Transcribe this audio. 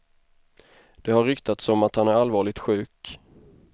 Det har ryktats om att han är allvarligt sjuk.